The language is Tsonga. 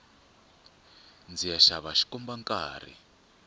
ndziya xava xikomba nkarhi